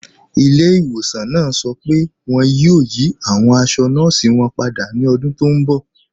Ìlẹ̀-ìwọ̀sàn náà sọ pé wọn yóò yí awọn àṣọ̀ nọọ̀sí wọn pádà ní ọ̀dún tó nbọ̀